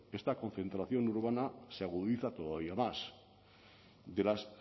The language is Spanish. esta concentración urbana se agudiza todavía más de las